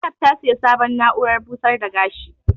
Zainab ta siya sabon na'uran busar da gashi